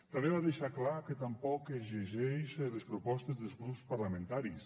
també va deixar clar que tampoc es llegeix les propostes dels grups parlamentaris